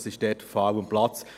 Es ist dort fehl am Platz.